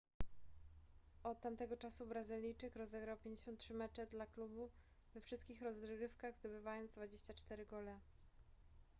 od tamtego czasu brazylijczyk rozegrał 53 mecze dla klubu we wszystkich rozgrywkach zdobywając 24 gole